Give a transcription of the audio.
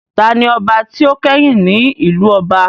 Taani ọba tí ó kẹ́yìn ní ìlú ọba?